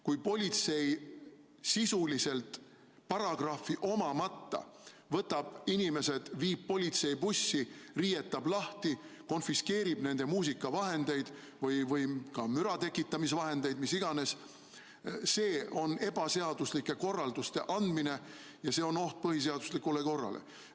Kui politsei sisuliselt paragrahvi omamata võtab inimesed, viib politseibussi, riietab lahti, konfiskeerib nende muusikavahendeid või ka müra tekitamise vahendeid – mis iganes –, siis see on ebaseaduslike korralduste andmine ja see on oht põhiseaduslikule korrale.